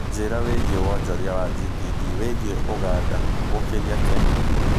njĩira wĩigie wonjoria wa g.p.d wĩigie Uganda gũkĩria Kenya